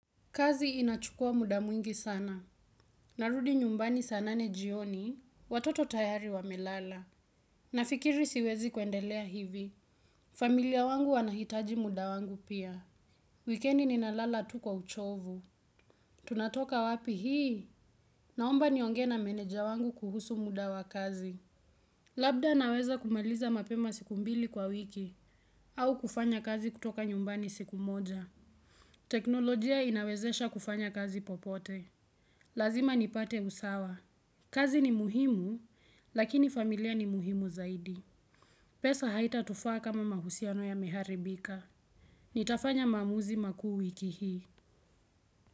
Kazi inachukua muda mwingi sana. Narudi nyumbani saa nane jioni. Watoto tayari wamelala. Nafikiri siwezi kwendelea hivi. Familia wangu wanahitaji muda wangu pia. Weekendi ninalala tu kwa uchovu. Tunatoka wapi hii? Naomba nionge na meneja wangu kuhusu muda wa kazi. Labda naweza kumeliza mapema siku mbili kwa wiki. Au kufanya kazi kutoka nyumbani siku moja. Teknolojia inawezesha kufanya kazi popote. Lazima nipate usawa. Kazi ni muhimu, lakini familia ni muhimu zaidi. Pesa haita tufa kama mahusiano ya meharibika. Nitafanya mamuzi maku wiki hii.